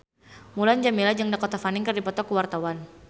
Mulan Jameela jeung Dakota Fanning keur dipoto ku wartawan